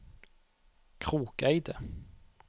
Krokeide